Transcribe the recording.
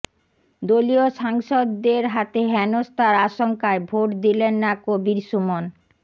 দলীয় সাংসদদের হাতে হেনস্থার আশঙ্কায় ভোট দিলেন না কবীর সুমন